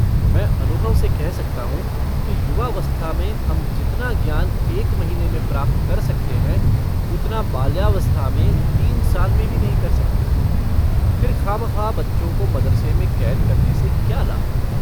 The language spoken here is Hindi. मैं अनुभव से कह सकता हूँ कि युवावस्था में हम जितना ज्ञान एक महीने में प्राप्त कर सकते हैं उतना बाल्यावस्था में तीन साल में भी नहीं कर सकते फिर खामख्वाह बच्चों को मदरसे में कैद करने से क्या लाभ।